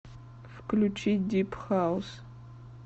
включи дип хаус